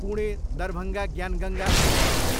Pune, Darbhanga Gyan Ganga express